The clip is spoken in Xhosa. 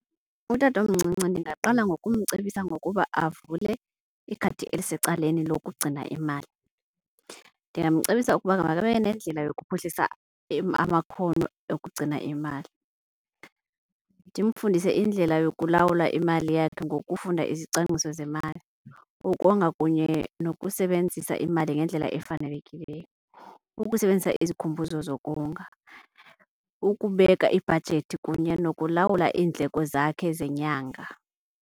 Utatomncinci ndingaqala ngokumcebisa ngokuba avule ikhadi elisecaleni lokugcina imali. Ndingamcebisa ukuba makabe nendlela yokuphuhlisa amakhono okugcina imali. Ndimfundise indlela yokulawula imali yakhe ngokufunda izicwangciso zemali, ukonga kunye nokusebenzisa imali ngendlela efanelekileyo, ukusebenzisa izikhumbuzo zokonga, ukubeka ibhajethi kunye nokulawula iindleko zakhe zenyanga.